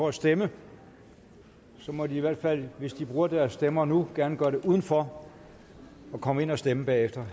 at stemme må de i hvert fald hvis de bruger deres stemmer nu gerne gøre det uden for og komme ind og stemme bagefter